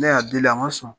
Ne y'a deli a ma sɔn